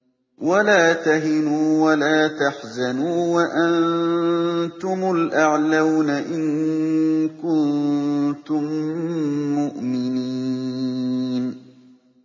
وَلَا تَهِنُوا وَلَا تَحْزَنُوا وَأَنتُمُ الْأَعْلَوْنَ إِن كُنتُم مُّؤْمِنِينَ